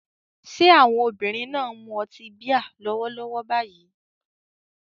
Ṣé àwọn obìnrin náà ń mu ọtí bíà lọ́wọ́lọ́wọ́ báyìí?